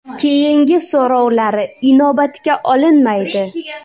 Keyingi so‘rovlari inobatga olinmaydi.